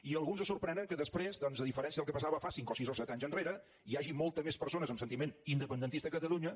i alguns es sorprenen que després doncs a diferència del que passava cinc o sis o set anys enrere hi hagi moltes més persones amb sentiment independentista a catalunya